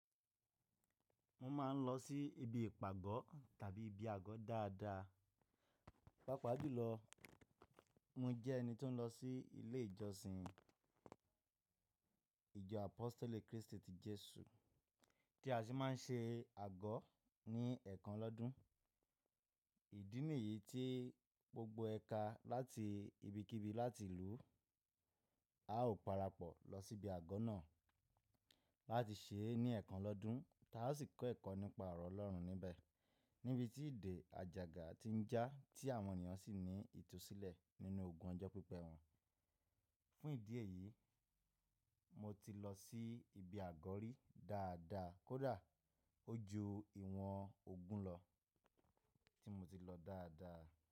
Mo máa ń lọ sí ibi ìpàgọ́ tàbí ibi àgọ́ dáadáa, pàápàá jùlọ mo jẹ́ ẹni tó ń lọ sí ilé ìjọsìn ìjọ Apostoli Kristi ti Jesu tí a sì máa ń ṣe àgọ́ ní ẹ̀ẹ̀kan lọ́dun. Ìdí nìyí tí gbogbo ẹ̀ka láti ibikíbi láti ìlú a ó parapọ̀ lọ sí ibi àgọ́ náà láti ṣe é ní ẹ̀ẹ̀kan lọ́dun táa sì kọ́ ẹ̀kọ́ nípa ọ̀rọ̀ Ọlọ́run níbẹ̀ níbi tí ìdè, àjàgà ti ń jà tí àwọn ènìyàn sì ní ìtúsílẹ̀ nínú ogun ọjọ́ pípẹ́ wọn. Fún ìdí èyí, mo ti lọ sí ibi àgọ́ rí dáadáa kó dà, ó ju ìwọ̀n ogún lọ tí mo ti lọ dáadáa.